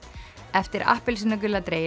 eftir appelsínugula